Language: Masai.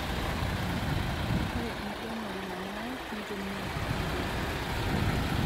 Ore enkiremore nanare nitumia teknoloji